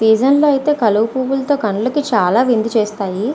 సీజన్లో అయితే కల్వ పువ్వులతో చాలా కనులవిందు చేస్తాయి.